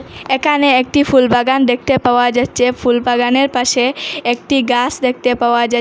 একানে একটি ফুলবাগান দেখতে পাওয়া যাচ্চে ফুলবাগানের পাশে একটি গাছ পাওয়া যা--